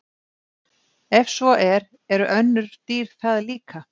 Ef svo er, eru önnur dýr það líka?